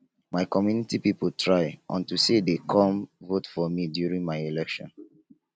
my community people try unto say dey come vote for me during my election